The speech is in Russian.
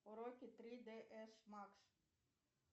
уроки три д с макс